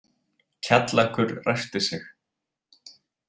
Kjallakur ræskti sig.